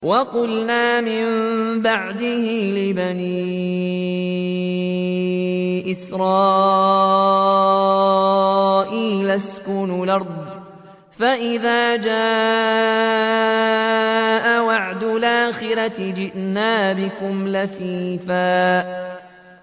وَقُلْنَا مِن بَعْدِهِ لِبَنِي إِسْرَائِيلَ اسْكُنُوا الْأَرْضَ فَإِذَا جَاءَ وَعْدُ الْآخِرَةِ جِئْنَا بِكُمْ لَفِيفًا